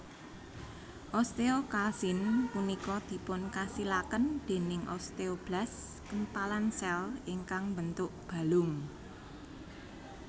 Osteokalsin punika dipunkasilaken dèning osteoblas kempalan sèl ingkang mbentuk balung